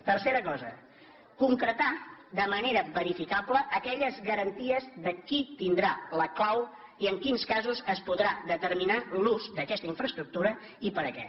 tercera cosa concretar de manera verificable aquelles garanties de qui tindrà la clau i en quins casos es podrà determinar l’ús d’aquesta infraestructura i per a què